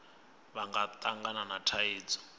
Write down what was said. vha nga tangana na thaidzo